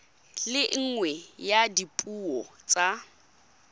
le nngwe ya dipuo tsa